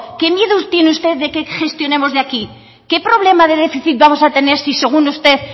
qué miedo tiene usted de que gestionemos de aquí qué problema de déficit vamos a tener si según usted